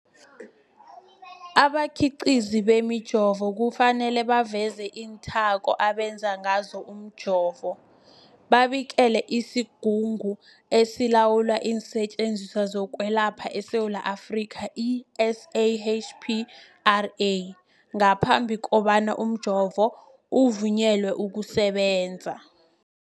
Abakhiqizi bemijovo kufanele baveze iinthako abenze ngazo umjovo, babikele isiGungu esiLawula iinSetjenziswa zokweLapha eSewula Afrika, i-SAHPRA, ngaphambi kobana umjovo uvunyelwe ukusebenza.